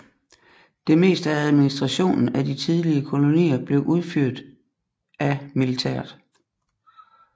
Det meste af administrationen af de tidlige kolonier blev udført af militæret